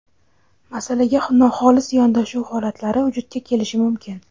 masalaga noxolis yondashuv holatlari vujudga kelishi mumkin.